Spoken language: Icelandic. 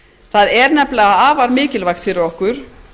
það er nefnilega afar mikilvægt fyrir okkur